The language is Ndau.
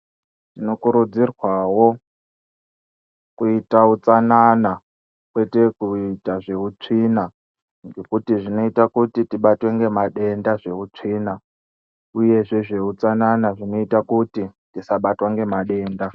Tinokurudzirwawo kuita utsanana, kwete kuita zveutsvina, ngekuti zvinoita kuti tibatwe ngemadenda zveutsvina, uyezve zveutsanana zvinoita kuti tisaabatwa ngemadenda.